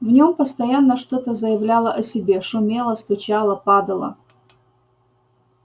в нём постоянно что-то заявляло о себе шумело стучало падало